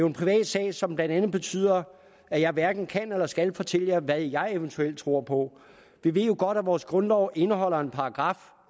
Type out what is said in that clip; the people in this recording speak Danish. en privat sag som blandt andet betyder at jeg hverken kan eller skal fortælle hvad jeg eventuelt tror på vi ved jo godt at vores grundlov indeholder en paragraf